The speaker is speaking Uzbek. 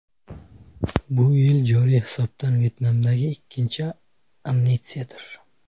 Bu joriy yil hisobidan Vyetnamdagi ikkinchi amnistiyadir.